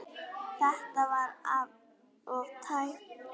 Þetta var of tæpt.